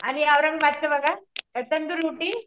आणि औरंगाबाबदच बघा तंदूर रोटी